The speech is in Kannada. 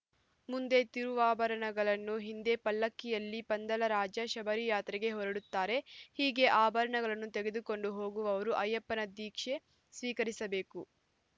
ಮುಂದೆ ತಿರುವಾಭರಣಗಳು ಹಿಂದೆ ಪಲ್ಲಕ್ಕಿಯಲ್ಲಿ ಪಂದಳರಾಜ ಶಬರಿಯಾತ್ರೆಗೆ ಹೊರಡುತ್ತಾರೆ ಹೀಗೆ ಆಭರಣಗಳನ್ನು ತೆಗೆದುಕೊಂಡು ಹೋಗುವವರು ಅಯ್ಯಪ್ಪನ ದೀಕ್ಷೆ ಸ್ವೀಕರಿಸಬೇಕು